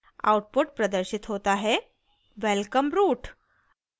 output प्रदर्शित होता है: welcome root!